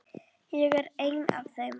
Ég er ein af þeim.